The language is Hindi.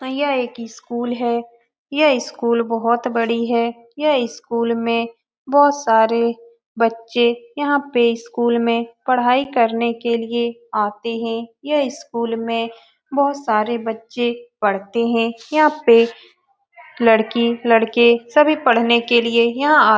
यहाँ एक इस्कूल है। यह इस स्कूल बहोत बड़ी है। यह इस्कूल में बहुत सारे बच्चे यहाँ पे स्कूल में पढ़ाई करने के लिए आते है। यह स्कूल में बोहोत सारे बच्चे पढ़ते है। यह पे लड़की लड़के सभी पढ़ने के लिए यहाँ आ --